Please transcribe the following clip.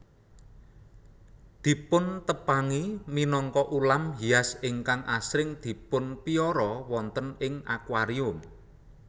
Dipuntepangi minangka ulam hias ingkang asring dipunpiara wonten ing akuarium